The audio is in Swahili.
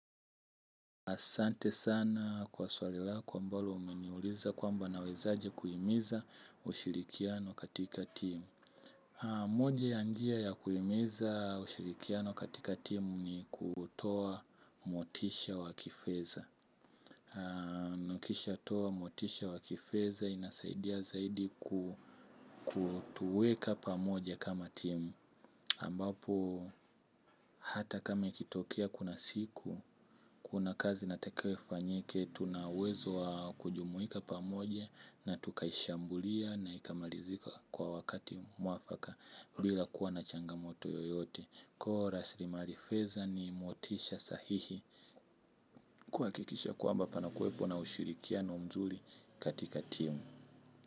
Asante sana kwa swali lako ambalo umeniuliza kwamba nawezaaje kuimiza ushirikiano katika timu. Moja ya njia ya kuimiza ushirikiano katika timu ni kutoa motisha wakifeza. Nikisha toa motisha wakifeza inasaidia zaidi kutuweka pamoja kama timu. Ambapo hata kama ikitokea kuna siku, kuna kazi nataka ifanyike, tuna uwezo wa kujumuika pamoja na tukaishambulia na ikamalizika kwa wakati mwafaka bila kuwa na changamoto yoyote. Koo rasilimari feza ni motisha sahihi kuakikisha kwamba panakuepo na ushirikiano mzuri katika timu.